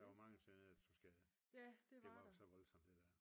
Der var mange sønderjyder der tog skade det var jo så voldsomt det der